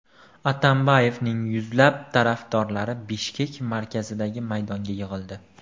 Atambayevning yuzlab tarafdorlari Bishkek markazidagi maydonga yig‘ildi .